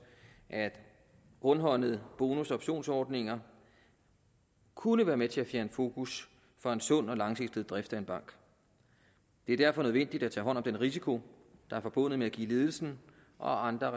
at rundhåndede bonus og optionsordninger kunne være med til at fjerne fokus fra en sund og langsigtet drift af en bank det er derfor nødvendigt at tage hånd om den risiko der er forbundet med at give ledelsen og andre